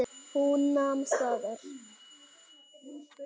Hún nam staðar.